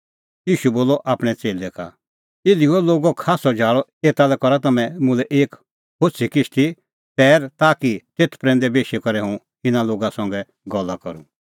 ईशू बोलअ आपणैं च़ेल्लै का इधी हुअ लोगो खास्सअ झाल़अ एता लै करा तम्हैं मुल्है एक होछ़ी किश्ती तैर ताकि तेथ प्रैंदै बेशी करै हुंह इना लोगा संघै गल्ला करूं